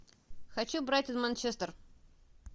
хочу брайтон манчестер